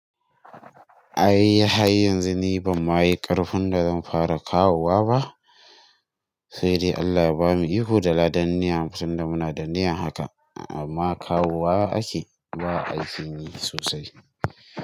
Ai hanzu ni bama yi ƙarfin da zan fara kawowa ba, sai dai Allah bamu iko da ladan ni'a tun da muna da ni'a haka amma kawowa ake, ba ai ki yi sosai.